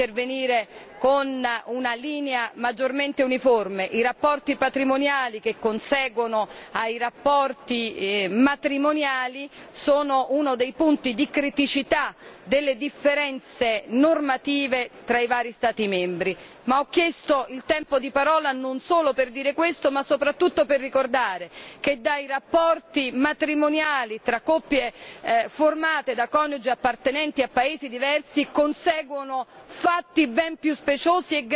vedere l'Unione europea intervenire con una linea maggiormente uniforme i rapporti patrimoniali che conseguono ai rapporti matrimoniali sono uno dei punti di criticità delle differenze normative fra i vari Stati membri. Ho chiesto di intervenire nel Tempo di parola anche e soprattutto per ricordare che dai rapporti matrimoniali tra coppie formate da coniugi appartenenti a paesi diversi conseguono